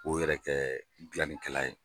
O yɛrɛ kɛ gilannikɛla ye.